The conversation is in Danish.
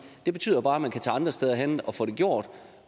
det betyder bare at man kan tage andre steder hen og få det gjort